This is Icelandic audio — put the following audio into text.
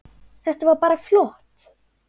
Þetta var bara flott.